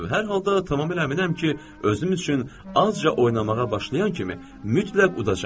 Hər halda tamamilə əminəm ki, özüm üçün azca oynamağa başlayan kimi, mütləq udacağam.